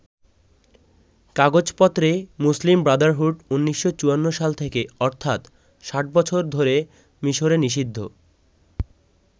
কাগজেপত্রে Muslim Brotherhood ১৯৫৪ সাল থেকে অর্থাৎ ৬০ বছর ধরে মিশরে নিষিদ্ধ।